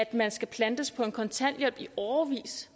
at man skal plantes på kontanthjælp i årevis